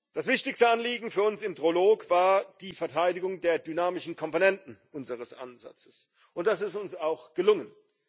Das wichtigste Anliegen für uns im Trilog war die Verteidigung der dynamischen Komponenten unseres Ansatzes, und das ist uns auch gelungen.